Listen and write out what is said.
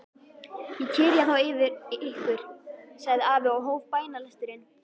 Ég kyrja þá yfir ykkur, sagði afi og hóf bænalesturinn.